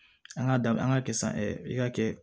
An ka da an ka kɛ san i ka kɛ